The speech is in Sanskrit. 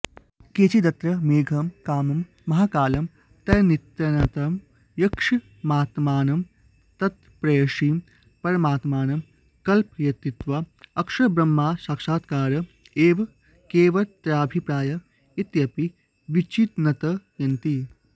केचिदत्र मेघं कामं महाकालं तन्नियन्तारं यक्षमात्मानं तत्प्रेयसीं परमात्मानं कल्पयित्वा अक्षरब्रह्मसाक्षात्कार एव कवेरत्राभिप्राय इत्यपि विचिन्तयन्ति